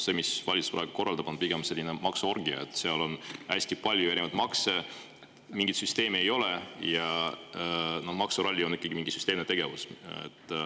See, mida valitsus korraldab, on pigem selline maksuorgia, sest hästi paljusid erinevaid makse ja mingit süsteemi ei ole, aga maksuralli on ikkagi mingi süsteemne tegevus.